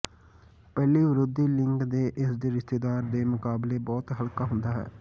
ਪਹਿਲੀ ਵਿਰੋਧੀ ਲਿੰਗ ਦੇ ਇਸ ਦੇ ਰਿਸ਼ਤੇਦਾਰ ਦੇ ਮੁਕਾਬਲੇ ਬਹੁਤ ਹਲਕਾ ਹੁੰਦਾ ਹੈ